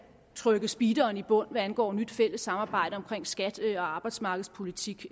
trykke speederen i bund hvad angår et nyt fælles samarbejde om skatte og arbejdsmarkedspolitik